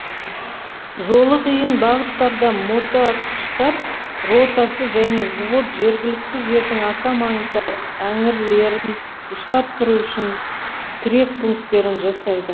жолы қиын бағыттарда мотоатқыштар ротасы және взвод жергілікті жердің аса маңызды әңірлерін ұстап тұру үшін тірек пункттерін жасайды